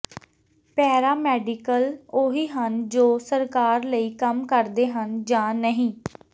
ਪੈਰਾ medical ਉਹੀ ਹਨ ਜੋ ਸਰਕਾਰ ਲਈ ਕੰਮ ਕਰਦੇ ਹਨ ਜਾਂ ਨਹੀਂ